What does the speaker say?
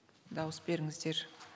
дауыс беріңіздер